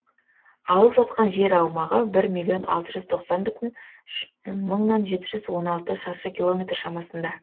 алып жатқан жер аумағы бір миллион алты жүз тоқсан мың бүтін мыңнан жеті жүз он алты шаршы километр шамасында